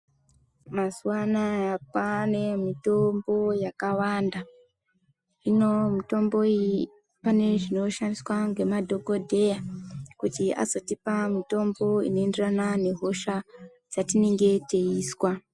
Mazuva anaya kwane mitombo yakawanda hino mitombo iyi pane zvinoshandiswa ngema dhokoteya kuti vazotipa mitombo ino enderana ne hosha dzatinenge teizwa.